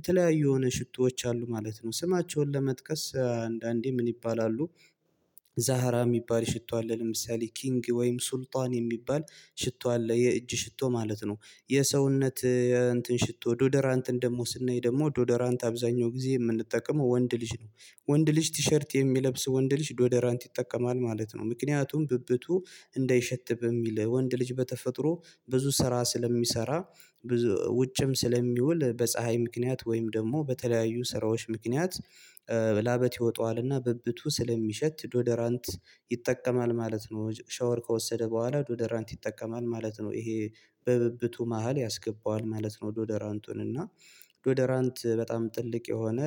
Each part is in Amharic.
የተለያዩ የሆነ ሽቶዎች አሉ ማለት ነው። ስማቸውን ለመጥቀስ አንዳንዴ ምን ይባላሉ? ዛህራ የሚባል ሽቶ አለ ለምሳሌ ኪንግ ወይም ሱልጣን የሚባል ሽቶ አለ የእጅ ሽቶ ማለት ነው። የሰውነት እንትን ሽቶ ዶደራንትን ደግሞ ስናይ ደግሞ ዶደራንት አብዛኛው ጊዜ የምንጠቀመው ወንድ ልጅ ነው። ወንድ ልጅ ቲሸርት የሚለብስ ወንድ ልጅ ዶደራንት ይጠቀማል ማለት ነው። ምክንያቱም ብብቱ እንዳይሸት በሚል ወንድ ልጅ በተፈጥሮ ብዙ ስራ ስለሚሰራ ብዙ ውጭም ስለሚውል በፀሀይ ምክንያት ወይም ደግሞ በተለያዩ ስራዎች ምክንያት ላበት ይወጣዋልና ብብቱ ስለሚሸት ዶደራንት ይጠቀማል ማለት ነው። ሻወር ከወሰደ በኋላ ዶደራንት ይጠቀማል ማለት ነው። ይሄ በብብቱ መሃል ያስገባዋል ማለት ነው። ዶደራንቱን እና ዶደራንት በጣም ትልቅ የሆነ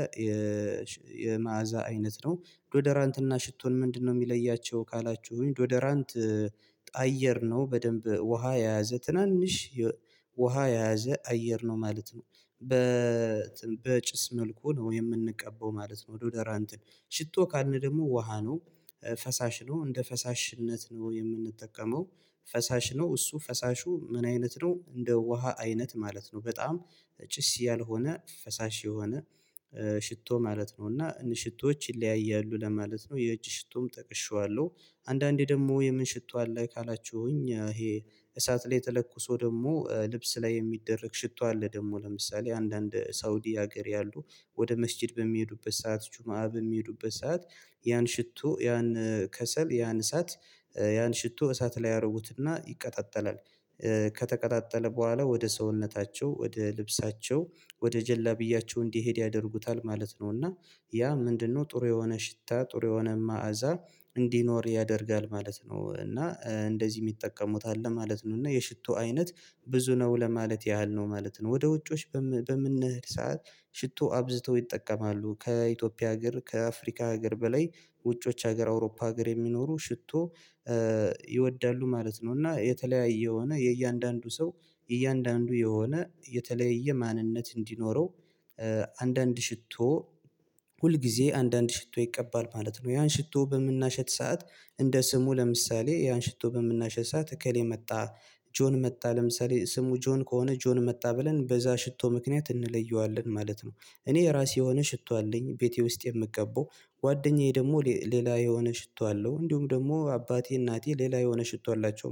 የመአዛ አይነት ነው። ዶደራንትና ሽቶን ምንድነው የሚለያቸው ካላችሁኝ? ዶዶራንት አየር ነው በደንብ ውሃ የያዘ ትናንሽ ውሃ የያዘ አየር ነው ማለት ነው። በጭስ መልኩ ነው የምንቀባው ማለት ነው ዶደራ እንትን ሽቶ ካልን ደግሞ ውሃ ነው። ፈሳሽ ነው እንደ ፈሳሽነት ነው የምንጠቀመው። ፈሳሽ ነው እሱ ፈሳሹ ምን አይነት ነው እንደ ውሃ አይነት ማለት ነው። በጣም ጭስ ያልሆነ ፈሳሽ የሆነ ሽቶ ማለት ነው። እና ሽቶዎች ይለያያሉ ለማለት ነው የእጅ ሽቶም ተቅሼዋለሁ። አንዳንዴ ደግሞ የምን ሽቶ አለ ካላችሁኝ? ይሄ እሳት ላይ ተለኩሶ ደግሞ ልብስ ላይ የሚደረግ ሽቶ አለ። ደግሞ ለምሳሌ አንዳንድ ሳውዲ ሀገር ያሉ ወደ መስኪድ በሚሄዱበት ሰዓት ጁማአ በሚሄዱበት ሰዓት ያን ሽቶ ያን ከሰል ያን እሳት ያን ሽቶ እሳት ላይ ያርጉትና ይቀጣጠላል ከተቀጣጠለ በኋላ ወደ ሰውነታቸው ወደ ልብሳቸው ወደ ጀለብያቸው እንዲሄድ ያደርጉታል ማለት ነው። እና ያ ምንድነው ጥሩ የሆነ ሽታ ጥሩ የሆነ ማዕዛ እንዲኖር ያደርጋል ማለት ነው። እና እንደዚህ የሚጠቀሙት አለ ማለት ነው። እና የሽቶ አይነት ብዙ ነው ለማለት ያህል ነው ማለት ነው። ወደ ውጭዎች በምንሄድ ሰዓት ሽቶ አብዝተው ይጠቀማሉ ከኢትዮጵያ አገር ከአፍሪካ አገር በላይ ውጭዎች አገር አውሮፓ ሀገር የሚኖሩ ሽቶ ይወዳሉ ማለት ነው። እና የተለያየ የሆነ የእያንዳንዱ ሰው እያንዳንዱ የሆነ የተለየ ማንነት እንዲኖረው አንዳንድ ሽቶ ሁል ጊዜ አንዳንድ ሽቶ ይቀባል ማለት ነው። ያን ሽቶ በምናሸት ሰዓት እንደ ስሙ ለምሳሌ ያን ሽቶ በምናሸት ሰዓት እከሌ መጣ። ጆን መጣ ለምሳሌ ስሙ ጆን ከሆነ ጆን መጣ ብለን በዛ ሽቶ ምክንያት እንለየዋለን ማለት ነው። እኔ የራሴ የሆነ ሽቶ አለኝ። ቤቴ ውስጥ የምቀባው ጓደኛዬ ደግሞ ሌላ የሆነ ሽቶ አለው። እንዲሁም ደግሞ አባቴ እናቴ ሌላ የሆነ ሽቶ አላቸው